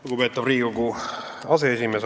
Lugupeetav Riigikogu aseesimees!